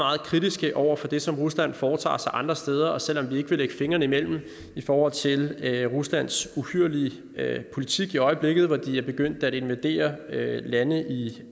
kritiske over for det som rusland foretager sig andre steder selv om vi ikke vil lægge fingrene imellem i forhold til ruslands uhyrlige politik i øjeblikket hvor de er begyndt at invadere lande i